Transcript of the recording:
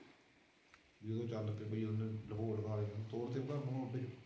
ਲੁਕਾਅ ਹੋਰ ਫਿਰ ਘਰ ਕਿੱਦਾ